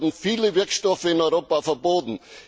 Es werden viele Wirkstoffe in Europa verboten.